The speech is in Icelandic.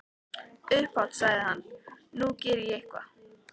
Upphátt sagði hann:- Nú geri ég eitthvað.